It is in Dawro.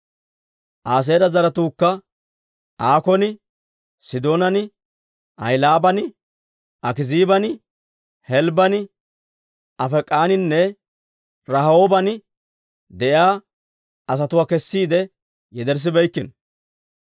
Aaseera zaratuukka Aakkon, Sidoonan, Ahilaaban, Akiziiban, Helbban, Afeek'aninne Rahooban de'iyaa asatuwaa kessiide yederssibeykkino.